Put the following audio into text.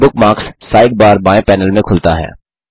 bookmarks sidebar बाएं panel में खुलता है